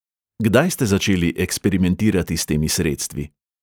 Kdaj ste začeli eksperimentirati s temi sredstvi?